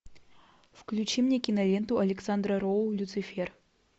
включи мне киноленту александра роу люцифер